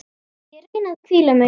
Ég reyni að hvíla mig.